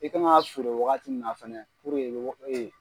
I ka kan ka sɔrɔ waagati mina fɛnɛ